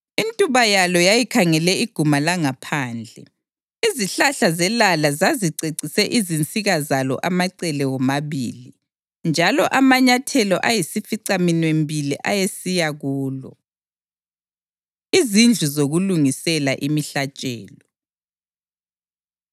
Intuba yalo yayikhangele iguma langaphandle; izihlahla zelala zazicecise izinsika zalo amacele womabili, njalo amanyathelo ayisificaminwembili ayesiya kulo. Izindlu Zokulungisela Imihlatshelo